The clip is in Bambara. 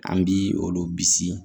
An bi olu bisi